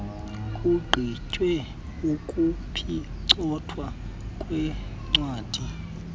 kugqitywe ukuphicothwa kweencwadi